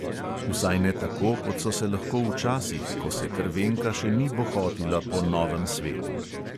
Vsaj ne tako, kot so se lahko včasih, ko se krvenka še ni bohotila po novem svetu.